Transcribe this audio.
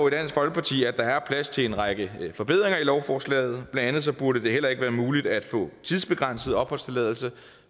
i at der er plads til en række forbedringer af lovforslaget blandt andet burde det heller ikke være muligt at få en tidsbegrænset opholdstilladelse